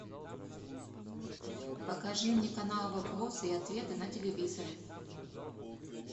покажи мне канал вопросы и ответы на телевизоре